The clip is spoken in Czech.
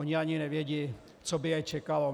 Oni ani nevědí, co by je čekalo.